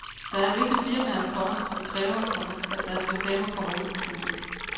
Der er visse firmaer, komma som kræver, komma at deres reklamer kommer ud. punktum